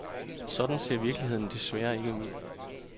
Sådan ser virkeligheden desværre ikke ud.